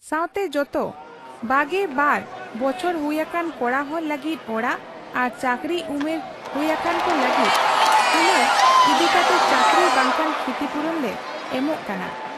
ᱥᱟᱶᱛᱮ ᱡᱚᱛᱚ ᱒᱒ ᱵᱚᱪᱷᱚᱨ ᱦᱩᱭ ᱟᱠᱟᱱ ᱠᱚᱲᱟᱦᱚᱲ ᱞᱟᱹᱜᱤᱫ ᱚᱲᱟᱜ ᱟᱨ ᱪᱟᱹᱠᱨᱤ ᱩᱢᱮᱨ ᱦᱩᱭ ᱟᱠᱟᱱᱠᱚ ᱞᱟᱹᱜᱤᱫ ᱦᱩᱱᱟᱹᱨ ᱤᱫᱤ ᱠᱟᱛᱮ ᱪᱟᱹᱠᱨᱤ ᱵᱟᱝᱠᱷᱟᱱ ᱠᱷᱤᱛᱤᱯᱩᱨᱚᱱ ᱞᱮ ᱮᱢᱚᱜ ᱠᱟᱱᱟ ᱾